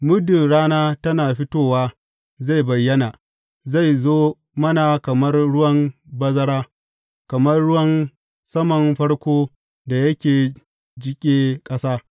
Muddin rana tana fitowa, zai bayyana; zai zo mana kamar ruwan bazara, kamar ruwan saman farko da yake jiƙe ƙasa.